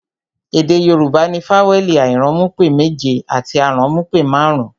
Èdè Yorùbá ní fawẹẹli airanmupe méje àti aranmupe marun-un